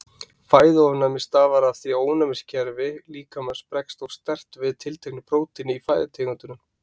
Fæðuofnæmi stafar af því að ónæmiskerfi líkamans bregst of sterkt við tilteknu prótíni í fæðutegundunum.